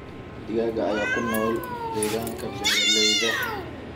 Digaagga ayaa ku nool deegaanka beeralayda.